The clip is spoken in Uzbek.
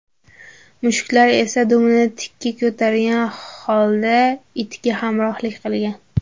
Mushuklar esa dumini tikka ko‘targan holda itga hamrohlik qilgan.